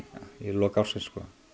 lok ársins